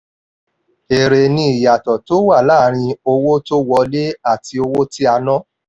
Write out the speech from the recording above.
eré ni ìyàtọ̀ tó wà láàárin owó tó wọlé àti owó tí a ná.